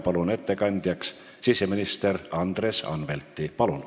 Palun ettekandeks kõnetooli siseminister Andres Anvelti!